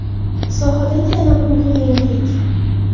Sohadagi yana bir muhim yangilik.